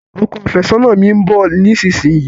Ọkọ àfẹ́sọ́nà mi n bọ̀ nísinsìnyí